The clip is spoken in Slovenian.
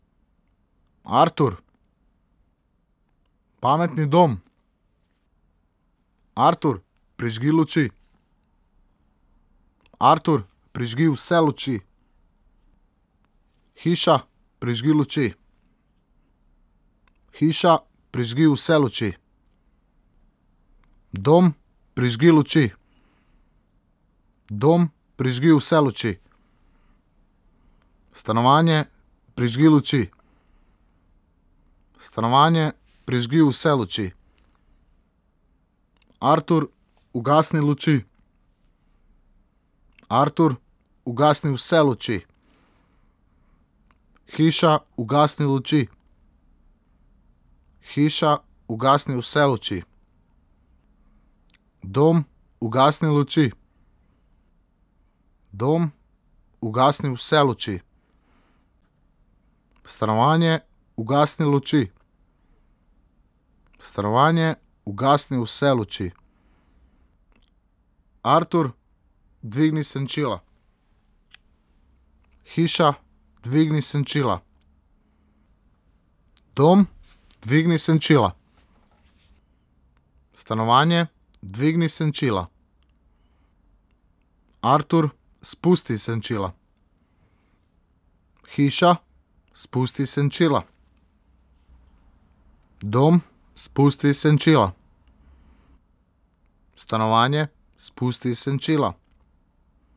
Artur. Pametni dom. Artur, prižgi luči. Artur, prižgi vse luči. Hiša, prižgi luči. Hiša, prižgi vse luči. Dom, prižgi luči. Dom, prižgi vse luči. Stanovanje, prižgi luči. Stanovanje, prižgi vse luči. Artur, ugasni luči. Artur, ugasni vse luči. Hiša, ugasni luči. Hiša, ugasni vse luči. Dom, ugasni luči. Dom, ugasni vse luči. Stanovanje, ugasni luči. Stanovanje, ugasni vse luči. Artur, dvigni senčila. Hiša, dvigni senčila. Dom, dvigni senčila. Stanovanje, dvigni senčila. Artur, spusti senčila. Hiša, spusti senčila. Dom, spusti senčila. Stanovanje, spusti senčila.